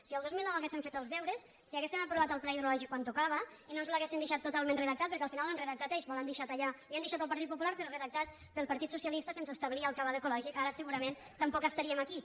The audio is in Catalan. si el dos mil nou haguessin fet els deures si haguessin aprovat el pla hidrològic quan tocava i no ens l’haguessin deixat totalment redactat perquè al final l’han redactat ells però l’han deixat allà l’han deixat al partit popular però redactat pel partit socialista sense establir el cabal ecològic ara segurament tampoc estaríem aquí